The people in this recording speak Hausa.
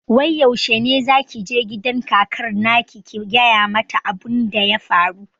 Wai yaushe ne zaki je gidan kakar naki ki gaya mata abun da ya faru?